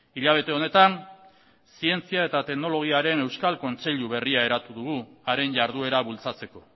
hilabete honetan zientzia eta teknologiaren euskal kontseilu berria eratu dugu haren jarduera bultzatzeko